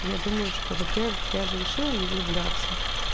я думаю что во-первых я же решила не влюбляться